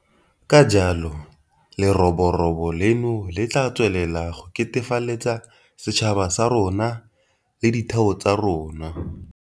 Ka jalo leroborobo leno le tla tswelela go ketefaletsa setšhaba sa rona le ditheo tsa rona.